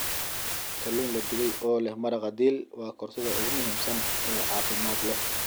Kalluun la dubay oo leh maraqa dill waa koorsada ugu muhiimsan ee caafimaad leh.